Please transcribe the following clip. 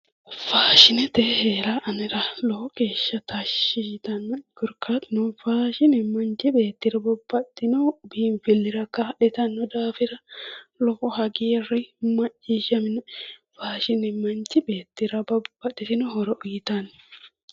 Faashinete heera anera lowo geeshsha tashshi yitannoe korkaatuno faashine manchu beettira babbaxxino biinfillira kaa'litanno daafira lowo hagiirri macciishshaminoe faashine manchi beettira babbaxxitino horo uyitanno